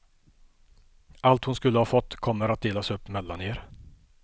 Allt hon skulle ha fått kommer att delas upp mellan er.